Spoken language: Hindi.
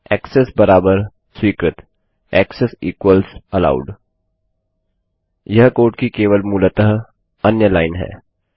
ऐक्सेस बराबर स्वीकृतएक्सेस इक्वल्स एलोव्ड वह कोड की केवल मूलतः अन्य लाइन है